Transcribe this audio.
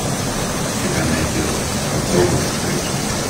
у тебя найдется попробуй подкати